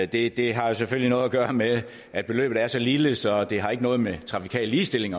det det har jo selvfølgelig noget at gøre med at beløbet er så lille så det ikke har noget med trafikal ligestilling